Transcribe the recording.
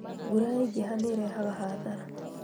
Mbura yaingĩha nĩirehaga hathara